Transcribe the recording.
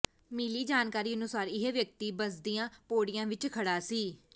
ਮਿਲੀ ਜਾਣਕਾਰੀ ਅਨੁਸਾਰ ਇਹ ਵਿਅਕਤੀ ਬੱਸਦੀਆਂ ਪੌੜੀਆਂ ਵਿੱਚ ਖੜ੍ਹਾ ਸੀ